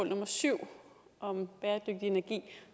nummer syv om bæredygtig energi